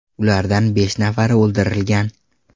Ulardan besh nafari o‘ldirilgan.